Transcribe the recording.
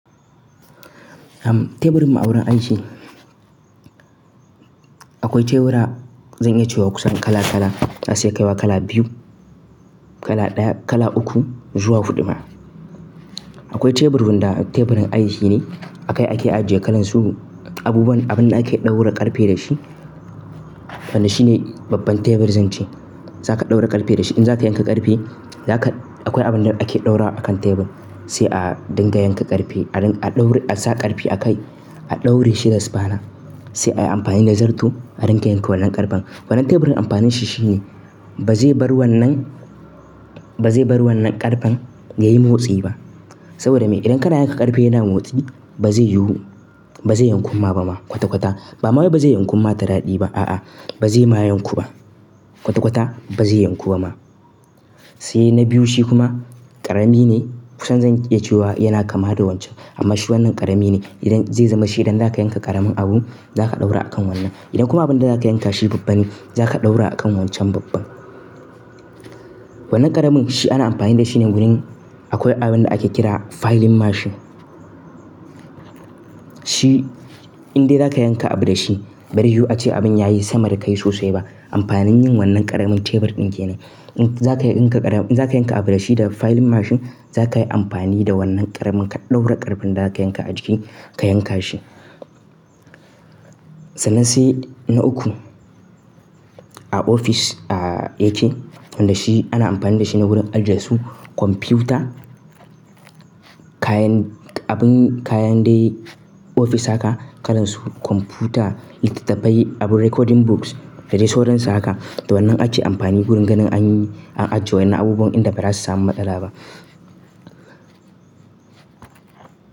Teburin mu a wurin aiki. Akwai tebura zan iya cewa kusan kala kala, za su iya kaiwa kala biyu, kala ɗaya, kala uku zuwa huɗu ma. Akwai tebur wanda teburin aiki ne, akai ake ajiye kalan su abubuwan abin da ake ɗaura ƙarfe da shi. Wannan shine babban tebur zan ce. Zaka ɗaura ƙarfe da shi. In za ka yanka ƙarfe, zaka akwai abin da ake ɗaura akan tebur, sai a dinga yanka ƙarfe a ɗauri a sa ƙarfe a kai a ɗauri shi da sufana. Sai ayi amfani da zarto a dinga yanka wannan ƙarfen. Wannan teburin amfanin shi shine ba zai bar wannan, ba zai bar wannan ƙarfen yayi motsi ba. Saboda me? Idan kana yanka ƙarfe yana motsi ba zai yiwu, ba zai yanku ma ba ma kwata kwata. Ba ma wai ba zai yanku ma ta daɗi ba a'a ba zai ma yanku ba kwata kwata ba zai yanku ba ma. Sai na biyu shi kuma ƙarami ne kusan zan iya cewa yana kama da wancan. Amma shi wannan ƙarami ne. Idan zai zama shi idan zaka yanka ƙaramin abu, za ka ɗaura a kan wannan. Idan kuma abin da za ka yanka shi babban ne, za ka ɗaura a kan wancan babban. Wannan ƙaramin shi ana amfani da shi ne wurin akwai abin da ake kira filing machine. Shi in dai za ka yanka abu da shi bazai yi yu ace abin ya yi sama da kai sosai ba. Amfanin yin wannan ƙaramin tebur din kenan. In za ka yanka ƙaramin, in za ka yanka abu da shi da filing machine za ka yi amfani da wannan ƙaramin ka ɗaura ƙarfen da za ka yanka a jiki ka yanka shi. Sannan sai na uku a ofis ah yake. Wanda shi ana amfani da shi ne wurin ajiye su kwamfuta, kayan abin kayan dai ofis haka kalan su kwamfuta, littattafai, abun recording books da dai sauran su haka. Da wannan ake amfani wurin ganin an an ajiye wa'ennan abubuwan inda ba za su samu matsala ba.